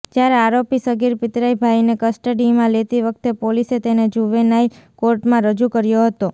જ્યારે આરોપી સગીર પિતરાઇ ભાયને કસ્ટડીમાં લેતી વખતે પોલીસે તેને જુવેનાઇલ કોર્ટમાં રજૂ કર્યો હતો